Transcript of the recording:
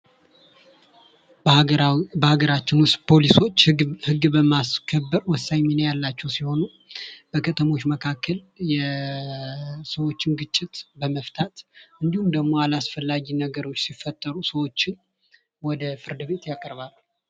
በሀገራችን ዉስጥ ፖሊሶች ህግን በማስከበር ወሳኝ ሚና ያላቸዉ ሲሆኑ በከተሞች መካከል የሰዎችን ግጭት በመፍታት እንዲሁም ደግሞ አላስፈላጊ ነገሮች ሲፈጠሩ ወደ ፍርድ ቤት ያቀርባሉ።